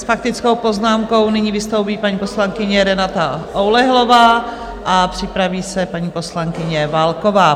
S faktickou poznámkou nyní vystoupí paní poslankyně Renata Oulehlová a připraví se paní poslankyně Válková.